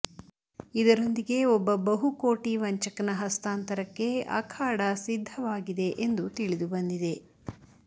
ಇದರೊಂದಿಗೆ ಒಬ್ಬ ಬಹುಕೋಟಿ ವಂಚಕನ ಹಸ್ತಾಂತರಕ್ಕೆ ಅಖಾಡ ಸಿದ್ದವಾಗಿದೆ ಎಂದು ತಿಳಿದು ಬಂದಿದೆ